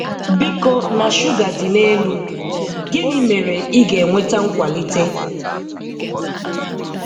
Biko na shuga dị n'elu. Gịnị mere ị ga-enweta nkwalite?